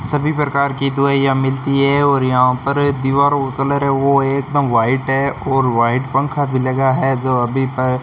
सभी प्रकार की दवाइयां मिलती है और यहां पर दीवारों का कलर है वो एकदम व्हाइट है और व्हाइट पंखा भी लगा है जो अभी पर --